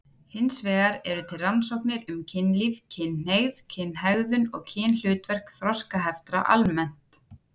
Hins vegar eru til rannsóknir um kynlíf, kynhneigð, kynhegðun og kynhlutverk þroskaheftra almennt.